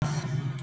Það yrði það.